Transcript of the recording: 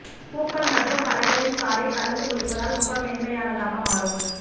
பூக்கள் மற்றும் பழங்களின் சாறை கலந்து குளிப்பதால் முகம் மென்மையானதாக மாறும்